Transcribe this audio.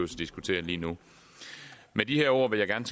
diskutere lige nu med de ord vil jeg gerne